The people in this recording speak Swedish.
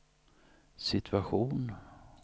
situation